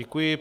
Děkuji.